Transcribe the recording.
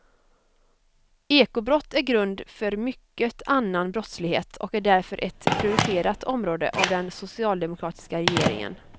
Ekobrott är grund för mycket annan brottslighet och är därför ett prioriterat område av den socialdemokratiska regeringen.